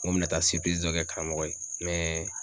Ŋo mi na taa dɔ kɛ karamɔgɔ ye